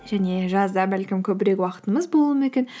және жазда бәлкім көбірек уақытымыз болуы мүмкін